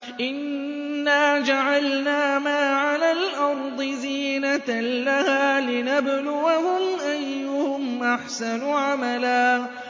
إِنَّا جَعَلْنَا مَا عَلَى الْأَرْضِ زِينَةً لَّهَا لِنَبْلُوَهُمْ أَيُّهُمْ أَحْسَنُ عَمَلًا